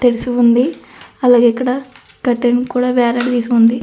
తెలిసి ఉంది. అలాగే కట్ టైం కూడా ఇక్కడ వేలాడదీసి ఉంది.